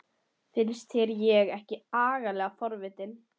Finnst þér ég ekki agalega forvitin?